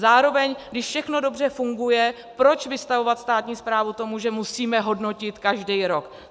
Zároveň, když všechno dobře funguje, proč vystavovat státní správu tomu, že musíme hodnotit každý rok?